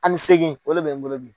Ani segin o de bɛ n bolo bi